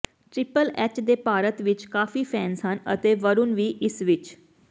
triple H ਦੇ ਭਾਰਤ ਵਿੱਚ ਕਾਫ਼ੀ ਫੈਂਸ ਹਨ ਅਤੇ ਵਰੁਣ ਵੀ ਇਸ ਵਿੱਚ